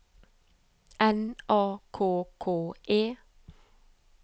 N A K K E